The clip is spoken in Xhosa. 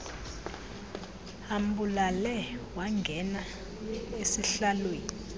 ambulale wangena esihlaalweni